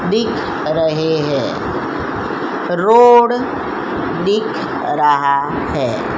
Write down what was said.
दिख रहे है रोड दिख रहा है।